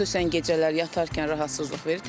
Xüsusən gecələr yatarkən rahatsızlıq verir.